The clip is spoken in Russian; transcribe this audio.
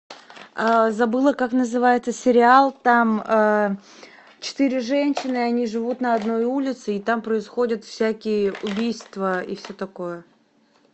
забыла как называется сериал там четыре женщины они живут на одной улице и там происходят всякие убийства и все такое